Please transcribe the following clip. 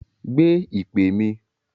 Gbé ìpè mi!